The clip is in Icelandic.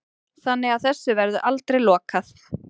Þannig að þessu verður aldrei lokað